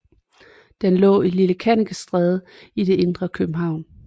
Den lå Lille Kannikestræde i det indre København